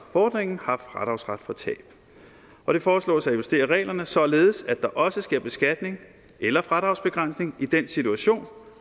fordringen har fradragsret for tab og det foreslås at justere reglerne således at der også sker beskatning eller fradragsbegrænsning i den situation